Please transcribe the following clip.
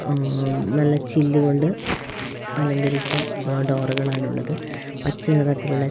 ആഹ് - മ് -നല്ല ചില്ലുകൊണ്ട് അലങ്കരിച്ച - അഹ് - ഡോറുകളാണുള്ളത് പച്ചനിറത്തിലുള്ള --